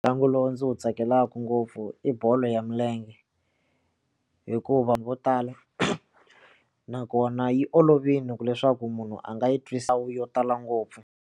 Ntlangu lowu ndzi wu tsakelaku ngopfu i bolo ya milenge hikuva vo tala nakona yi olovile ku leswaku munhu a nga yi twisa wu yo tala ngopfu.